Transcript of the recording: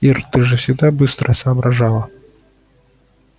ир ты же всегда быстро соображала